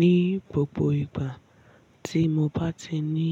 Ní gbogbo ìgbà tí mo bá ti ní